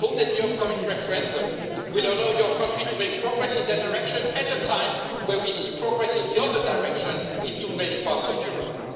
I hope that the upcoming referendum will allow your country to make progress in that direction at a time where we see progress in the other direction in too many parts of Europe.